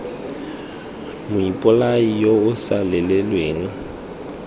moipolai yo o sa lelelweng